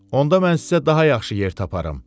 Onda mən sizə daha yaxşı yer taparam.